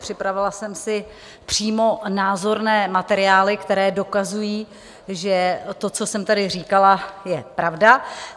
Připravila jsem si přímo názorné materiály, které dokazují, že to, co jsem tady říkala, je pravda.